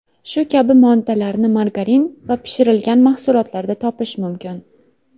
Shu kabi moddalarni margarin va pishirilgan mahsulotlarda topish mumkin.